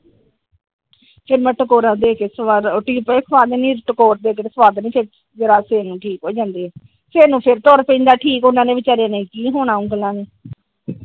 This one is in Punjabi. ਫਿਰ ਮੈ ਟੈਗੋਰਾ ਦੇਹ ਕੇ ਸਵਾ ਦਿੰਦੀ ਸਵੇਰ ਨੂੰ ਠੀਕ ਹੋ ਜਾਂਦੇ ਸਵੇਰ ਨੂੰ ਫਿਰ ਤੁਰ ਪੈਂਦਾ ਠੀਕ ਉਹਨਾਂ ਵਿਚਾਰਿਆ ਨੇ ਕਿ ਹੁਣਾ ਉਂਗਲਾਂ ਨੇ ।